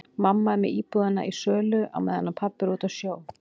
Mamma er með íbúðina í sölu á meðan pabbi er úti á sjó.